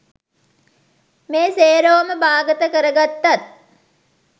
මේ සේරෝම බාගත කරගත්තත්